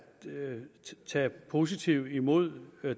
tage positivt imod